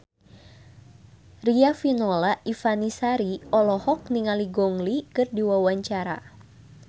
Riafinola Ifani Sari olohok ningali Gong Li keur diwawancara